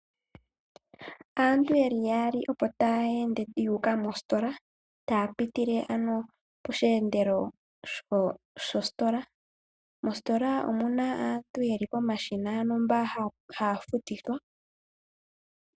Aantu yeli yaali opo taya ende yi uka mositola ,taya pitile ano posheendelo sho Sitola. Moositola omuna aantu yeli pomashina ano mpono hapu futilwa.